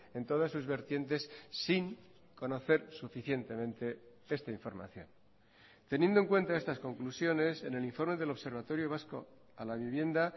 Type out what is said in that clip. en todas sus vertientes sin conocer suficientemente esta información teniendo en cuenta estas conclusiones en el informe del observatorio vasco a la vivienda